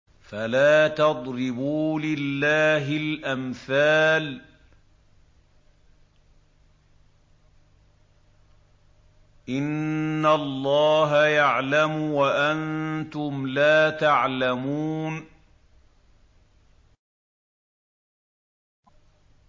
فَلَا تَضْرِبُوا لِلَّهِ الْأَمْثَالَ ۚ إِنَّ اللَّهَ يَعْلَمُ وَأَنتُمْ لَا تَعْلَمُونَ